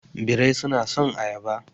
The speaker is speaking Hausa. Birrai suna son ayaba